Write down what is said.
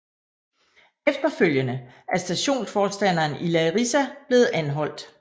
Efterfølgende er stationsforstanderen i Larisa blevet anholdt